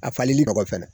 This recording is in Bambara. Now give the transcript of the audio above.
A falili nɔgɔ fɛnɛ